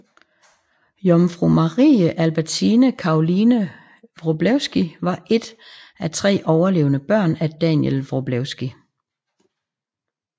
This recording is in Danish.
Jomfru Marie Albertine Caroline Wroblewsky var et af tre overlevende børn af Daniel Wroblewsky